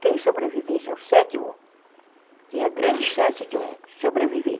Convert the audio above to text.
Quem sobrevivesse ao sétimo tinha grande chance de sobreviver.